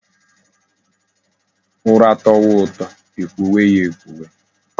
Ura towa uto ekwowe ya ekwowe